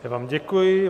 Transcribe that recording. Já vám děkuji.